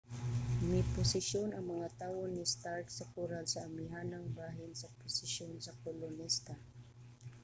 miposisyon ang mga tawo ni stark sa koral sa amihanang bahin sa posisyon sa kolonista